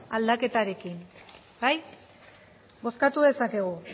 aldaketarekin bai bozkatu dezakegu